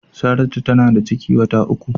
Saratu tana da ciki wata uku.